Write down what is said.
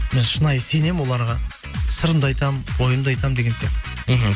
мен шынайы сенемін оларға сырымды айтамын ойымды айтамын деген сияқты мхм